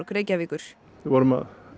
Reykjavíkur við vorum